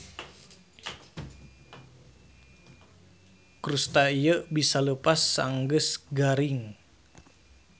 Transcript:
Krusta ieu bisa leupas sanggeus garing.